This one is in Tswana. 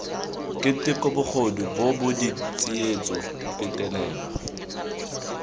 keteko bogodu bobod tsietso petelelo